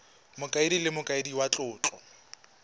mokaedi le mokaedi wa matlotlo